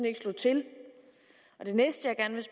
ikke slog til det næste